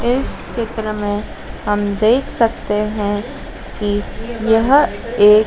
इस चित्र में हम देख सकते हैं कि यह एक--